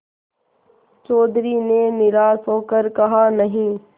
चौधरी ने निराश हो कर कहानहीं